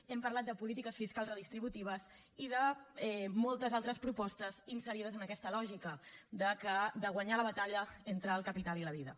hem parlat de polítiques fiscals redistributives i de moltes altres propostes inserides en aquesta lògica de guanyar la batalla entre el capital i la vida